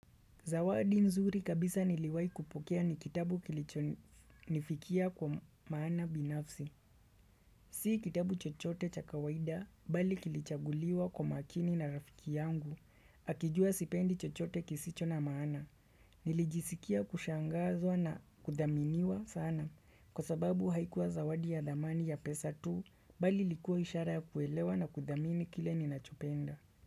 Zawadi nzuri kabisa niliwai kupokea ni kitabu kilichonifikia kwa maana binafsi. Si kitabu chochote chakawaida bali kilichaguliwa kwa makini na rafiki yangu. Akijua sipendi chochote kisicho na maana. Nilijisikia kushangazwa na kudaminiwa sana. Kwa sababu haikuwa zawadi ya dhamani ya pesa tu bali likuwa ishara ya kuelewa na kuthamini kile ni nachopenda.